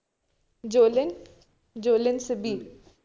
Jolene. ജോലിൻ സബീദ്